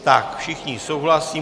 Všichni souhlasí.